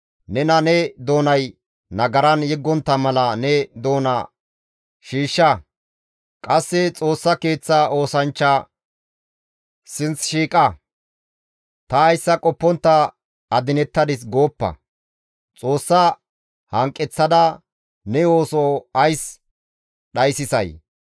Nena ne doonay nagaran yeggontta mala ne doona shiishsha; qasse Xoossa Keeththa oosanchcha sinth shiiqada, «Ta hayssa qoppontta adinettadis» gooppa. Xoossa hanqeththada ne ooso ays dhayssisay?